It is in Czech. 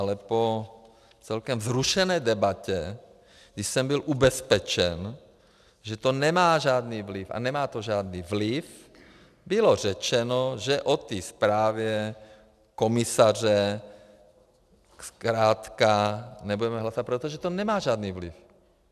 Ale po celkem vzrušené debatě, kdy jsem byl ubezpečen, že to nemá žádný vliv, a nemá to žádný vliv, bylo řečeno, že o té zprávě komisaře zkrátka nebudeme hlasovat, protože to nemá žádný vliv.